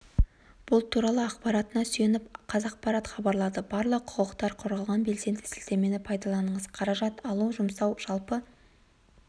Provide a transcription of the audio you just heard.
бұл туралы ақпаратына сүйеніп қазақпарат хабарлады барлық құқықтар қорғалған белсенді сілтемені пайдаланыңыз қаражат алу жұмсау жалпы